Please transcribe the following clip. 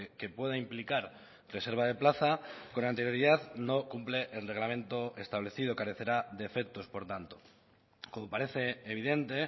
que pueda implicar reserva de plaza con anterioridad no cumple el reglamento establecido carecerá de efectos por tanto como parece evidente